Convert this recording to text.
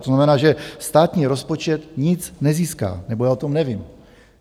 To znamená, že státní rozpočet nic nezíská, nebo já o tom nevím.